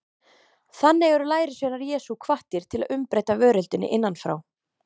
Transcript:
Þannig eru lærisveinar Jesú hvattir til að umbreyta veröldinni innan frá.